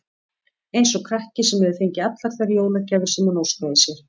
Eins og krakki, sem hefur fengið allar þær jólagjafir sem hann óskaði sér.